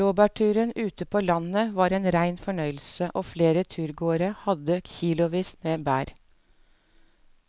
Blåbærturen ute på landet var en rein fornøyelse og flere av turgåerene hadde kilosvis med bær.